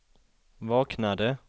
vaknade